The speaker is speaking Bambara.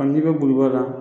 Hali n'i bɛ boli ba la